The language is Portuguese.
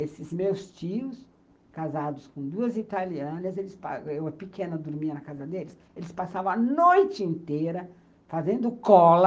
Esses meus tios, casados com duas italianas, eu pequena dormia na casa deles, eles passavam a noite inteira fazendo cola